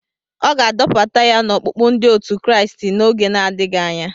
A ga-adọbata ya n'ọkpụkpụ ndi otu Kraịst n'oge na-adịghị anya.